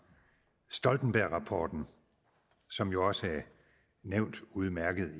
stoltenbergrapporten som jo også er udmærket